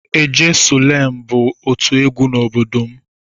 "Ejesulem" bụ otu egwu n'obodo m.